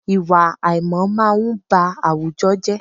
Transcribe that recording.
Ìwà àìmọ̀ máa n ba àwùjọ jẹ́